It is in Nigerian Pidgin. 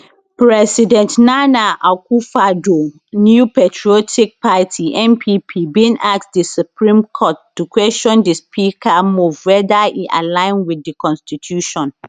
president nana akufoaddo new patriotic party npp bin ask di supreme court to question di speaker move weather e align wit di constitution